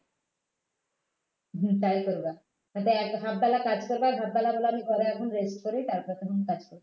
হম তাই করবে হয়তো এক hajf বেলা কাজ করবে half বেলা . এখন আমি rest করি তারপর তখন কাজ করবে